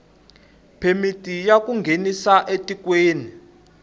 phemiti ya ku nghenisa etikweni